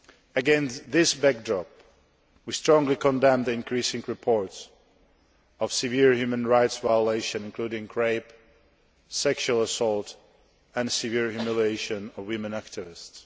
Against this backdrop, we strongly condemn the increasing reports of severe human rights violations including rape, sexual assault and severe humiliation of women activists.